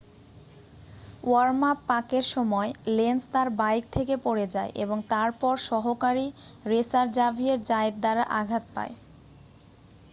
worm up পাকের সময় Lenz তাঁর বাইক থেকে পড়ে যায় এবং তারপর সহকারী রেসার জাভিয়ের জায়েত দ্বারা আঘাত পায়